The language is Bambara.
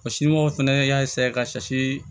Wa sinmɔw fana y'a ka